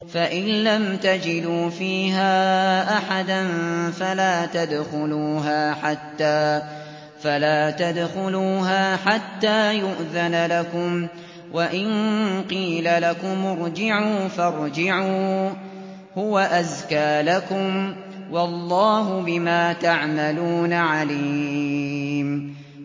فَإِن لَّمْ تَجِدُوا فِيهَا أَحَدًا فَلَا تَدْخُلُوهَا حَتَّىٰ يُؤْذَنَ لَكُمْ ۖ وَإِن قِيلَ لَكُمُ ارْجِعُوا فَارْجِعُوا ۖ هُوَ أَزْكَىٰ لَكُمْ ۚ وَاللَّهُ بِمَا تَعْمَلُونَ عَلِيمٌ